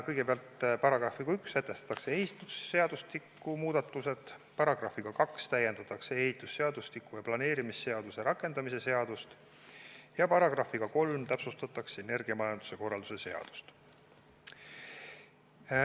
Kõigepealt, §-ga 1 sätestatakse ehitusseadustiku muudatused, §-ga 2 täiendatakse ehitusseadustiku ja planeerimisseaduse rakendamise seadust ja §-ga 3 täpsustatakse energiamajanduse korralduse seadust.